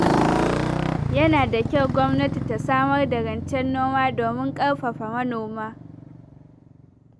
Yana da kyau gwamnati ta samar da rancen noma domin ƙarfafa manoma.